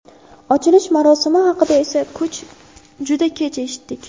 Ochilish marosimi haqida esa juda kech eshitdik.